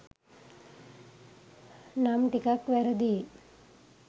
නම් ටිකක් වැරදි.